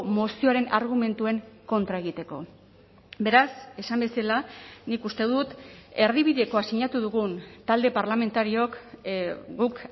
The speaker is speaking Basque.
mozioaren argumentuen kontra egiteko beraz esan bezala nik uste dut erdibidekoa sinatu dugun talde parlamentariook guk